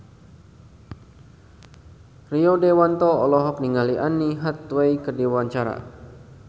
Rio Dewanto olohok ningali Anne Hathaway keur diwawancara